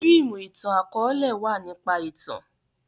fíìmù itan-akọọlẹ wá nípa ìtàn.